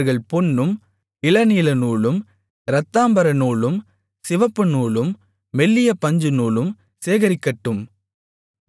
அவர்கள் பொன்னும் இளநீலநூலும் இரத்தாம்பரநூலும் சிவப்புநூலும் மெல்லிய பஞ்சுநூலும் சேகரிக்கட்டும்